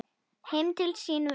Heim til sín hvert?